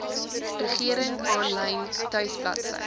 regering aanlyn tuisbladsy